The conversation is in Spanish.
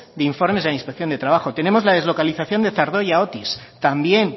de informes de inspección de trabajo tenemos la deslocalización de zardoya otis también